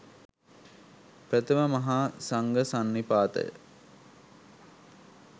ප්‍රථම මහා සංඝ සන්නිපාතය